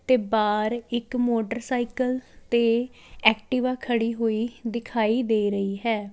ਤੇ ਬਾਹਰ ਇੱਕ ਮੋਟਰਸਾਇਕਲ ਤੇ ਐਕਟਿਵਾ ਖੜ੍ਹੀ ਹੋਈ ਦਿਖਾਈ ਦੇ ਰਹੀ ਹੈ।